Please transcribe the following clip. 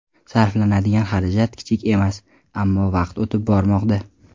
Sarflanadigan xarajat kichik emas, ammo vaqt o‘tib bormoqda.